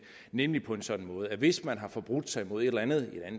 nemlig på en sådan måde at hvis man har forbrudt sig mod et eller andet